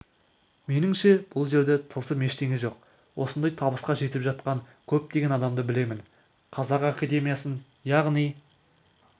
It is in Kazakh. меніңше бұл жерде тылсым ештеңе жоқ осындай табысқа жетіп жатқан көптеген адамды білемін қазақ академиясын яғни